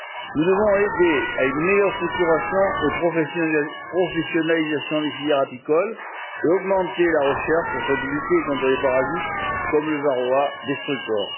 Nous devons aider à une meilleure structuration et professionnalisation des filières apicoles et augmenter la recherche afin de lutter contre les parasites comme le varroa destructor